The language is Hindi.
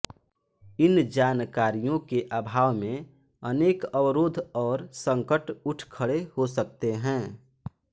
इन जानकारियों के अभाव में अनेक अवरोध और संकट उठ खड़े हो सकते हैं